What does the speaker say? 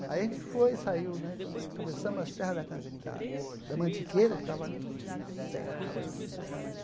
Aí a gente foi e saiu né, quando atravessamos a Serra da can da da Mantiqueira, que estava ali um cerrado, assim, sabe?